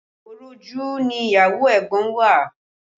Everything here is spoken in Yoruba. Òròjú ni ìyàwó ẹ̀gbọ́n wa